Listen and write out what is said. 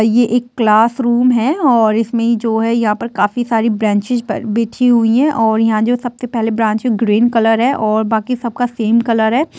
ये एक class room है और इसमें जो है यहाँ पर काफी सारी ब्रेनचेज बिछी हुई है और यहाँ पे सबसे पहली ब्रेंच ग्रीन कलर है और बाकी सब का सेम कलर है।